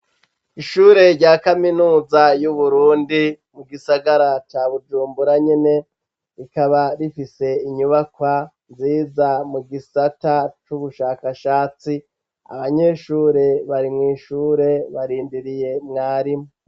Ishure rya kaminuza y'uburundi mu gisagara ca bujumbura nyene rikaba rifise inyubakwa nziza mu gisata c'ubushakashatsi abanyeshure bari mw'ishure barindiriye umwarimu.